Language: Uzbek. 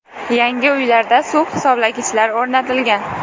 Yangi uylarda suv hisoblagichlar o‘rnatilgan.